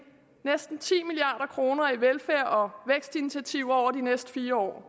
næsten ti milliard kroner i velfærd og vækstinitiativer over de næste fire år